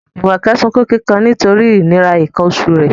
Jumoke sunkún kíkan nítorí ìnira nǹkan oṣù rẹ̀